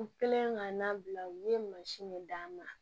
U kɛlen ka nan bila u ye mansin de d'a ma